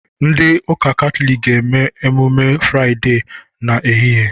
Ndị ụka Katọlik ga-emume Fraịdee a n'ehihie